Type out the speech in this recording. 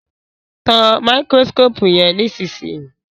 Tán Máíkírósíkópù yén nísìsiyìí!